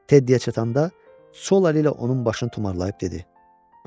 Teddi-yə çatanda sol əli ilə onun başını tumarlayıb dedi: